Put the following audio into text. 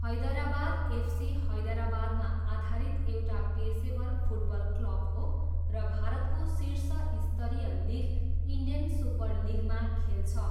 Hyderabad FC हैदराबादमा आधारित एउटा पेसेवर फुटबल क्लब हो र भारतको शीर्ष स्तरीय लिग, इन्डियन सुपर लिगमा खेल्छ।